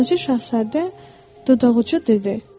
Balaca Şahzadə dodaqucu dedi.